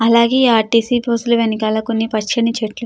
అలాగే ఈ RTC bus లా వెనకాల పచ్చని చెట్లు --